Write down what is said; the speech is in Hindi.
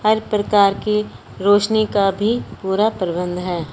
हर प्रकार की रोशनी का भी पूरा प्रबंध है।